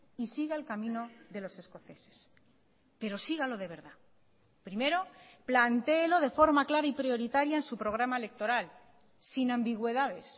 y siga el camino de los escoceses pero sígalo de verdad primero plantéelo de forma clara y prioritaria en su programa electoral sin ambigüedades